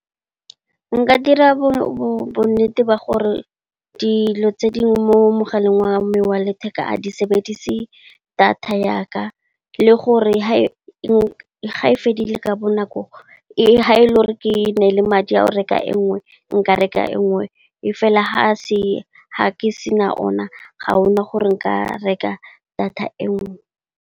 Nka dira bonnete ba gore dilo tse dingwe mo mogaleng wa me wa letheka ga di sebedise data yaka, le gore ga e fedile ka bonako ha e le gore ke na le madi a go reka enngwe, nka reka enngwe fela, ga ke sena ona ga gona gore nka reka data e nngwe.